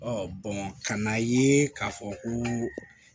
ka n'a ye k'a fɔ ko